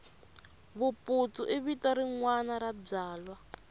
vuputsu i vito rinwani ra byala